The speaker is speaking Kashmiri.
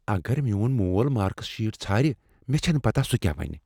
اگر میون مول مارکس شیٹ ژھارِ ، مےٚ چھنہٕ پتاہ سُہ کیٛاہ ونہِ۔